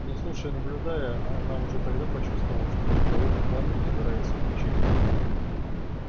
но слушая и наблюдая она уже тогда почувствовала как в ней холодным пламенем загорается увлечение